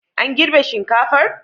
An girbe shinkafar?